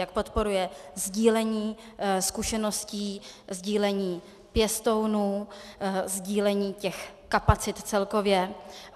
Jak podporuje sdílení zkušeností, sdílení pěstounů, sdílení těch kapacit celkově?